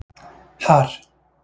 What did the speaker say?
Har